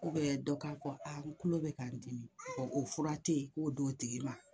dɔ k'a ko an tulo bɛ ka n dimi ɔ o fura tɛ yen k'o d'o tigi ma